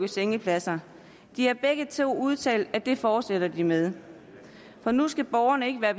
sengepladser de har begge to udtalt at det fortsætter de med for nu skal borgerne ikke mere